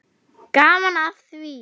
Gaman af því.